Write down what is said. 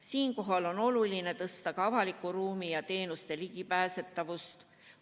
Siinkohal on oluline parandada ka avaliku ruumi ja teenuste ligipääsetavust.